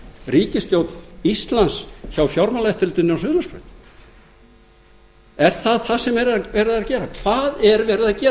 ríkisstjórn íslands hjá fjármálaeftirlitinu inn á suðurlandsbraut er það það sem verið er að gera hvað er verið að gera